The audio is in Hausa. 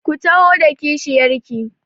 Ku taho da kishiyar ki!